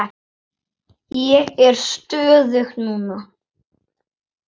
Ég er stöðug núna.